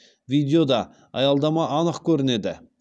видеода аялдама анық көрінеді